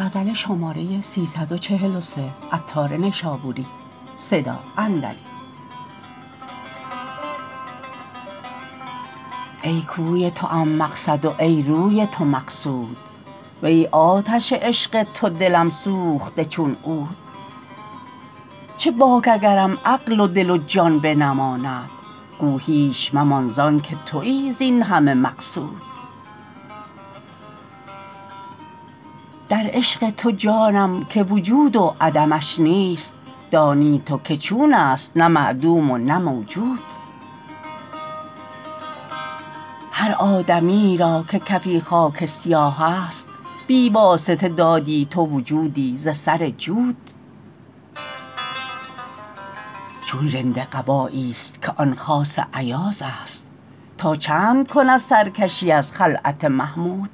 ای کوی توام مقصد و ای روی تو مقصود وی آتش عشق تو دلم سوخته چون عود چه باک اگرم عقل و دل و جان بنماند گو هیچ ممان زانکه تویی زین همه مقصود در عشق تو جانم که وجود و عدمش نیست دانی تو که چون است نه معدوم و نه موجود هر آدمی یی را که کفی خاک سیاه است بی واسطه دادی تو وجودی ز سر جود چون ژنده قبایی است که آن خاص ایاز است تا چند کند سرکشی از خلعت محمود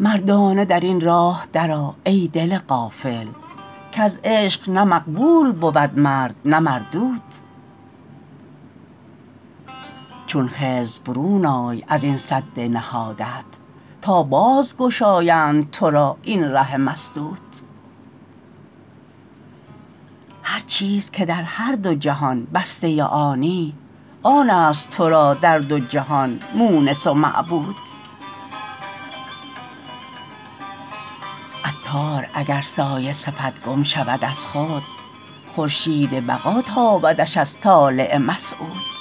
مردانه در این راه درآ ای دل غافل کز عشق نه مقبول بود مرد نه مردود چون خضر برون آی ازین سد نهادت تا باز گشایند تو را این ره مسدود هرچیز که در هر دو جهان بسته آنی آن است تورا در دو جهان مونس و معبود عطار اگر سایه صفت گم شود از خود خورشید بقا تابدش از طالع مسعود